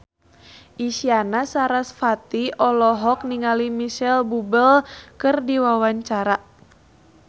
Isyana Sarasvati olohok ningali Micheal Bubble keur diwawancara